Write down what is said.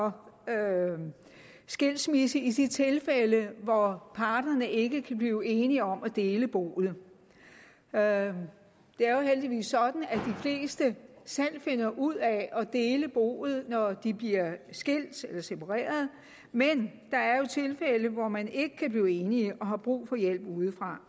for skilsmisser i de tilfælde hvor parterne ikke kan blive enige om at dele boet det er jo heldigvis sådan at de fleste selv finder ud af at dele boet når de bliver skilt eller separeret men der er jo tilfælde hvor man ikke kan blive enige og har brug for hjælp udefra